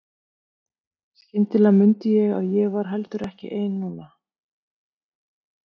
Skyndilega mundi ég að ég var heldur ekki ein núna.